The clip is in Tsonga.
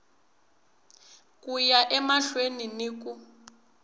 ku ya emahlweni ni ku